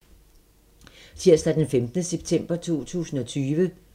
Tirsdag d. 15. september 2020